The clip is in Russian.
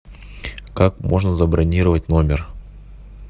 как можно забронировать номер